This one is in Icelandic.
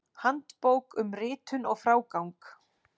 Handbók um ritun og frágang.